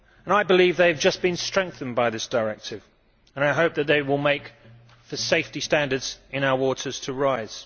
I believe they have just been strengthened by this directive and hope that they will cause the safety standards in our waters to rise.